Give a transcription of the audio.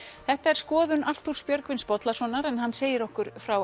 þetta er skoðun Arthúrs Björgvins Bollasonar en hann segir okkur frá